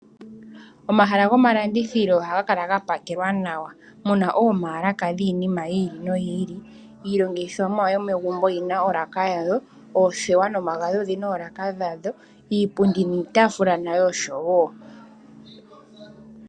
Omahala goma landithilo ohaga kala ga pakelwa nawa, muna omaalaka dhiinima yi ili noyi ili. Iilongithomwa yomegumbo oyina olaka yayo, oothewa nomagadhi odhina oolaka dhadho, iipundi niitaafula nayo osho wo.